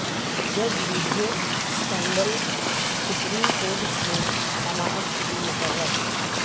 جج video scandal supreme court میں سماعت کیلئے مقرر